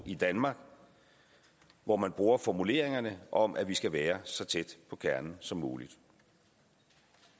i danmark hvor man bruger formuleringen om at vi skal være så tæt på kernen som muligt